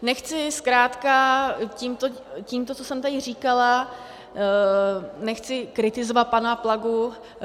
Nechci zkrátka tímto, co jsem teď říkala, nechci kritizovat pana Plagu.